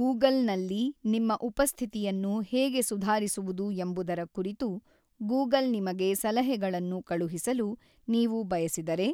Google ನಲ್ಲಿ ನಿಮ್ಮ ಉಪಸ್ಥಿತಿಯನ್ನು ಹೇಗೆ ಸುಧಾರಿಸುವುದು ಎಂಬುದರ ಕುರಿತು ಗೂಗಲ್ ನಿಮಗೆ ಸಲಹೆಗಳನ್ನು ಕಳುಹಿಸಲು ನೀವು ಬಯಸಿದರೆ